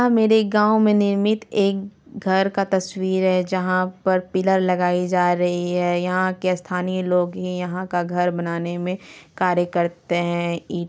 मेरे गाँव मे निर्मित एक घर का तस्वीर है जहां पर पिल्लर लगाई जा रही है। यहा के स्थानी लोग ही यहा का घर बनाने मे कार्य करते है।